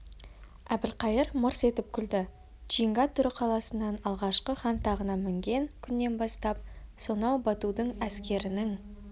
әбілқайыр мырс етіп күлді чинга тұра қаласынан алғашқы хан тағына мінген күннен бастап сонау батудың әскерінің